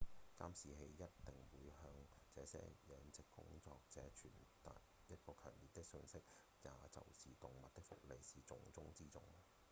「監視器一定會向這些養殖工作者傳達一個強烈訊息也就是動物的福利是重中之重」